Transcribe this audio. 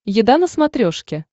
еда на смотрешке